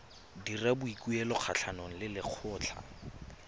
dira boikuelo kgatlhanong le lekgotlha